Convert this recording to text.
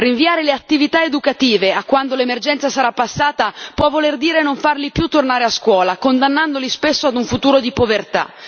Rinviare le attività educative a quando l'emergenza sarà passata può voler dire non farli più tornare a scuola, condannandoli spesso a un futuro di povertà.